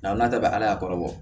Nga n'a bɛɛ bɛ ala kɔrɔ bɔ